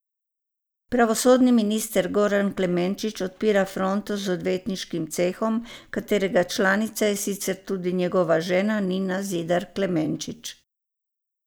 Pravosodni minister Goran Klemenčič odpira fronto z odvetniškim cehom, katerega članica je sicer tudi njegova žena Nina Zidar Klemenčič.